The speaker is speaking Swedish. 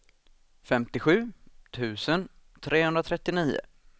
femtiosju tusen trehundratrettionio